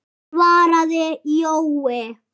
svaraði Jói.